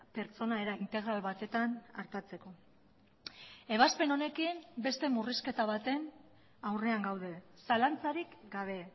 pertsona era integral batetan artatzeko ebazpen honekin beste murrizketa baten aurrean gaude zalantzarik gabe